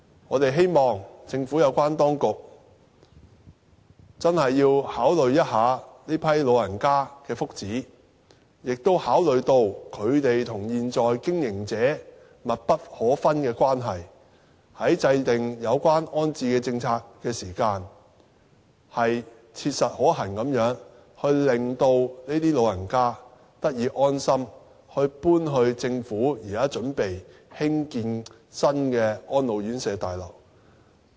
我們希望政府有關當局認真考慮這群老人家的福祉，亦考慮到他們和現在經營者有緊密關係，在制訂有關安置政策的時候，切實可行地令這群老人家得以安心，搬到政府現在準備興建的新安老院舍綜合大樓。